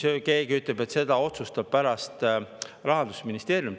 Keegi ütleb, et seda otsustab pärast Rahandusministeerium.